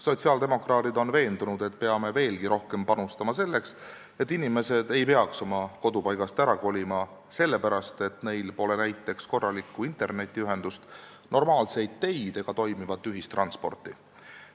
Sotsiaaldemokraadid on veendunud, et peame veelgi rohkem panustama selleks, et inimesed ei peaks oma kodupaigast ära kolima sellepärast, et neil pole näiteks korralikku internetiühendust, normaalseid teid ega toimivat ühistransporti.